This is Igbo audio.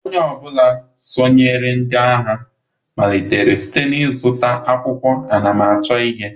Onye ọ bụla sonyeere ndị agha malitere site n'ịzụta akwụkwọ anamachọ ihe.